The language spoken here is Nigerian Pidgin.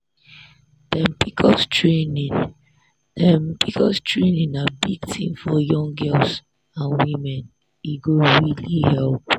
dem pcos training dem pcos training na big thing for young girls and women e go really help.